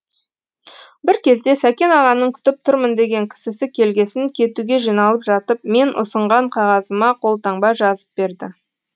бір кезде сәкен ағаның күтіп тұрмын деген кісісі келгесін кетуге жиналып жатып мен ұсынған қағазыма қолтаңба жазып берді